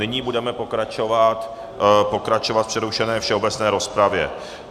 Nyní budeme pokračovat v přerušené všeobecné rozpravě.